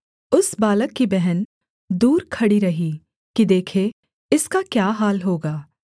उस बालक कि बहन दूर खड़ी रही कि देखे इसका क्या हाल होगा